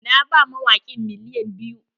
Na ba mawaƙin miliyan biyu.